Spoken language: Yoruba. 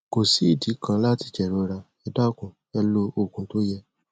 kò sí ìdí kan láti jẹrora ẹ dákun ẹ lo òògùn tó yẹ